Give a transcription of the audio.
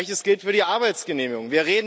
Gleiches gilt für die Arbeitsgenehmigung.